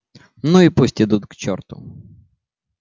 ну и пусть идут к черту